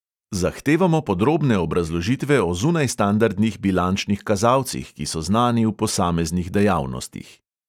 Zahtevamo podrobne obrazložitve o zunajstandardnih bilančnih kazalcih, ki so znani v posameznih dejavnostih.